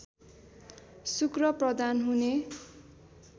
शुक्र प्रधान हुने